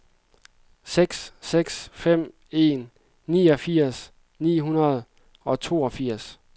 seks seks fem en niogfirs ni hundrede og toogfirs